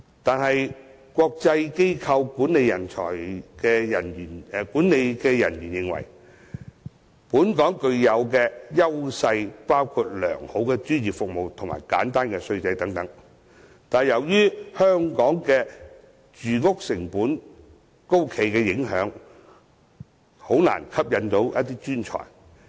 可是，有國際機構管理人員認為，本港雖然具有良好專業服務及簡單稅制等優勢，但由於住屋成本高企，因而難以吸引專才。